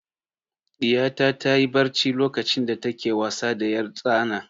Ɗiyata ta yi barci lokacin da ta ke wasa da 'yartsana.